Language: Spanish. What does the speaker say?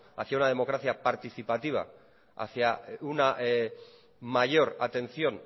hacia una democracia participativa hacia una mayor atención